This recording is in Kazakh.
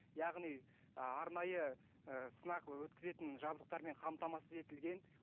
яғни ы арнайы ыыы сынақ өткізетін жабдықтармен қамтамасыз етілген